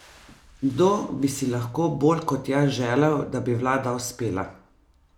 Kdo bi si lahko bolj kot jaz želel, da bi vlada uspela?